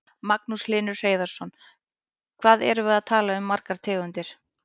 Magnús Hlynur Hreiðarsson: Hvað erum við að tala um margar tegundir?